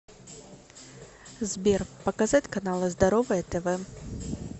сбер показать каналы здоровое тв